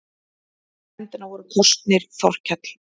Í nefndina voru kosnir Þorkell